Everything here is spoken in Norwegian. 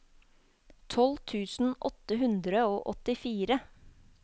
tolv tusen åtte hundre og åttifire